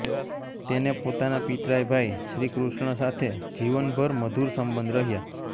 તેને પોતાના પિતરાઈ ભાઈ શ્રી કૃષ્ણ સાથે જીવન ભર મધુર સંબંધ રહ્યા